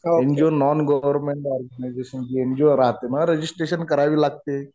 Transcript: NGO non government organisation. NGO राहते ना registration करावी लागते.